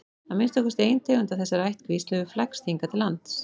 að minnsta kosti ein tegund af þessari ættkvísl hefur flækst hingað til lands